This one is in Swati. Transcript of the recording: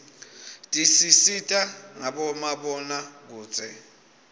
tisisita ngabomabonakudze